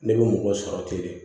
Ne bɛ mɔgɔ sɔrɔ ten de